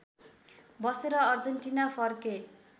बसेर अर्जेन्टिना फर्के